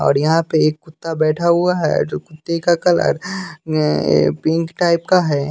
और यहाँ पे एक कुत्ता बैठा हुआ है जो कुत्ते का कलर पिंक टाइप का है।